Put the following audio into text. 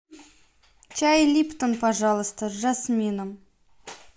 чай липтон пожалуйста с жасмином